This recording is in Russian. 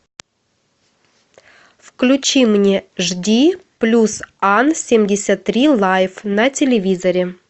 включи мне жди плюс ан семьдесят три лайф на телевизоре